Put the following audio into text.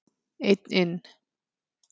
Einn inn.